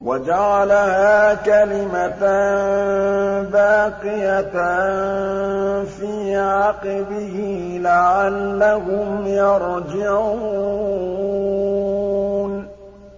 وَجَعَلَهَا كَلِمَةً بَاقِيَةً فِي عَقِبِهِ لَعَلَّهُمْ يَرْجِعُونَ